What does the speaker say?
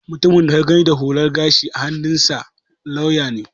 Mutumin da ka gani da hular gashi a hannunsa lauya ne